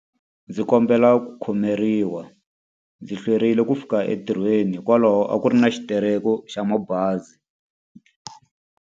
Ndzi kombela ku khomeriwa, ndzi hlwerile ku fika entirhweni hikwalaho a ku ri na xitereko xa mabazi.